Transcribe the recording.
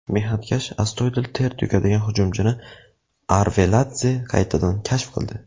Mehnatkash, astoydil ter to‘kadigan hujumchini Arveladze qaytadan kashf qildi.